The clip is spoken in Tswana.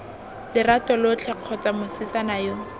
lerato lotlhe kgotsa mosetsana yo